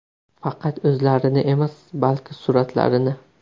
Faqat o‘zlarini emas, balki suratlarini.